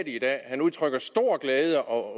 i dag han udtrykker stor glæde og